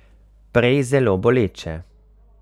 Prej zelo boleče.